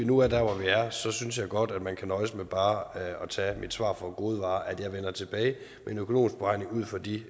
vi nu er der hvor vi er synes synes jeg godt at man kan nøjes med bare at tage mit svar for gode varer nemlig at jeg vender tilbage med en økonomisk beregning ud fra de